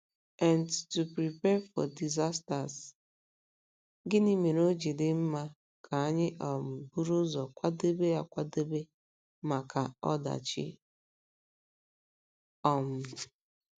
nt to prepare for disasters? Gịnị mere o ji dị mma ka anyị um buru ụzọ kwadebe akwadebe maka um ọdachi? um